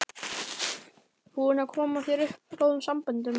Búinn að koma sér upp góðum samböndum.